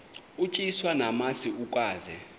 utyiswa namasi ukaze